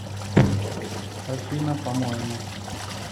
афина по моему